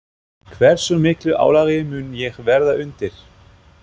Hversu miklu álagi mun ég verða undir?